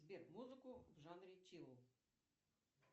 сбер музыку в жанре чилл